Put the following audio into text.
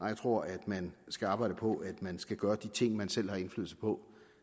jeg tror at man skal arbejde på at man skal gøre de ting man selv har indflydelse på